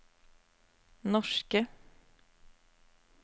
norske